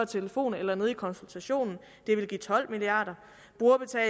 telefon eller nede i konsultationen ville give tolv milliard og